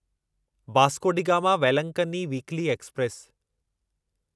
Vasco da Gama Velankanni weekly express